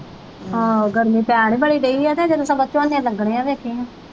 ਆਹੋ ਗਰਮੀ ਪੈਣ ਹੀ ਬੜੀ ਡਈ ਆ ਤੇ ਜਦੋਂ ਝੋਨੇ ਲੱਗਣੇ ਆ ਵੇਖੀ